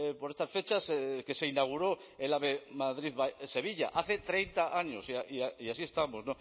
por estas fechas que se inauguró el ave madrid sevilla hace treinta años y así estamos